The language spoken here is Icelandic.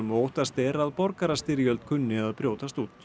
og óttast er að borgarastyrjöld kunni að brjótast út